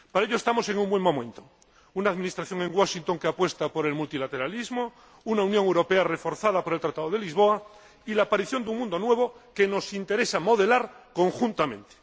Para ello, estamos en un buen momento una administración en Washington que apuesta por el multilateralismo, una Unión Europea reforzada por el Tratado de Lisboa y la aparición de un mundo nuevo que nos interesa modelar conjuntamente.